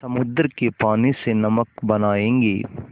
समुद्र के पानी से नमक बनायेंगे